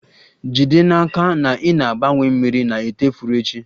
Jide n'aka na ị na-agbanwe mmiri na ite ifuru echi